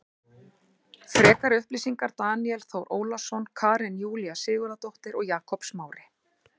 Frekari upplýsingar Daníel Þór Ólason Karen Júlía Sigurðardóttir og Jakob Smári.